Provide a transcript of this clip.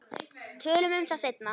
Tölum um það seinna.